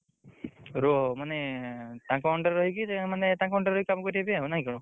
ରୁଅ ମାନେ ତାଙ୍କ under ରହିକି ମାନେ ତାଙ୍କ under ରେ କାମ କରିଆ ପାଇଁ ନାଇଁ କଣ?